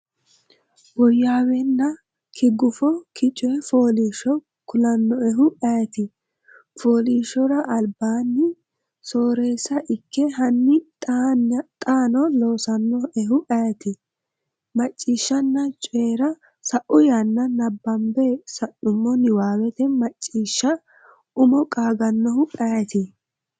woyyaaweenna ki gufo ki coy fooliishsho kulannoehu ayeeti? fooliishshora albisa, sooreessa ikke Hanni xaano loosannoehu ayeeti? Macciishshanna Coyi’ra Sa’u yanna nabbambe sa’numo niwaawete Macciishsha umo qaagannohu ayeeti?